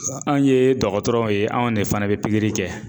an' yee dɔgɔtɔrɔw ye anw de fana be pikiri kɛ